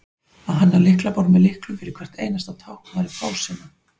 að hanna lyklaborð með lyklum fyrir hvert einasta tákn væri fásinna